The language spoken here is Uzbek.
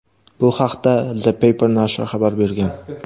Bu haqda "The Paper" nashri xabar bergan.